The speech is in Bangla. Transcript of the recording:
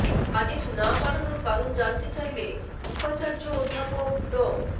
বাজেট না বাড়ানোর কারণ জানতে চাইলে উপাচার্য অধ্যাপক ড